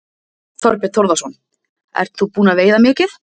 Þorbjörn Þórðarson: Ert þú búin að veiða mikið?